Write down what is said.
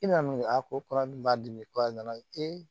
I namu a ko kɔrɔ min b'a dimi ko a nana